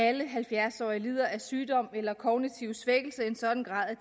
alle halvfjerds årige lider af sygdom eller kognitiv svækkelse i en sådan grad at